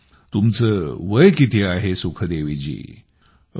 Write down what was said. मचं वय किती आहे सुखदेवीजी